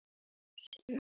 Lagður til hinstu hvílu?